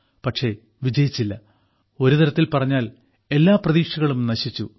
പക്ഷേ വിജയിച്ചില്ല ഒരുതരത്തിൽ പറഞ്ഞാൽ എല്ലാ പ്രതീക്ഷകളും നശിച്ചു